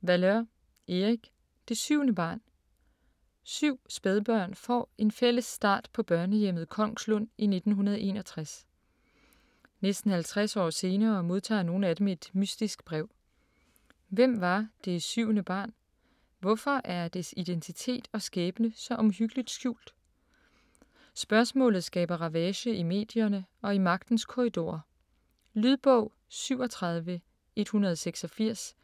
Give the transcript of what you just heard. Valeur, Erik: Det syvende barn Syv spædbørn får en fælles start på børnehjemmet Kongslund i 1961. Næsten 50 år senere modtager nogle af dem et mystisk brev. Hvem var det syvende barn, hvorfor er dets identitet og skæbne så omhyggeligt skjult? Spørgsmålet skaber ravage i medierne og i magtens korridorer. Lydbog 37186